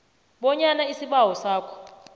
bonyana isibawo sakho